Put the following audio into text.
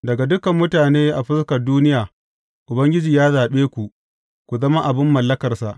Daga dukan mutane a fuskar duniya, Ubangiji ya zaɓe ku, ku zama abin mallakarsa.